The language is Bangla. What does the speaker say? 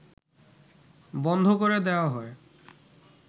বন্ধ করে দেওয়া হয়